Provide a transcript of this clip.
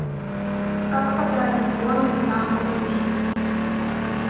как потратить бонусы нам по пути